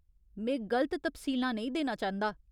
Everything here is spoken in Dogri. में गलत तफसीलां नेईं देना चांह्दा।